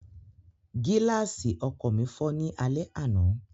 Gíláàsì ọkọ̀ mi fọ́ ní alẹ́ àná